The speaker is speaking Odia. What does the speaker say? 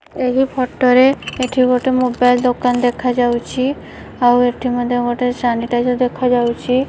ଏହି ଫଟ ରେ ଏଠି ଗୋଟେ ମୋବାଇଲ୍ ଦୋକାନ ଦେଖାଯାଉଛି ଆଉ ଏଠି ମଧ୍ୟ ଗୋଟେ ସାନିଟାଇଜର ଦେଖାଯାଉଚି।